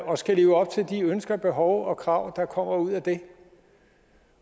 og skal leve op til de ønsker og behov og krav der kommer ud af det